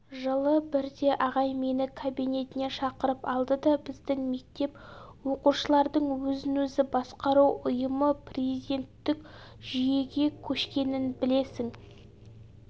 жылы бірде ағай мені кабинетіне шақырып алды да біздің мектеп оқушылардың өзін-өзі басқару ұйымы президенттік жүйеге көшкенін білесің